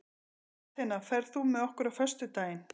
Atena, ferð þú með okkur á föstudaginn?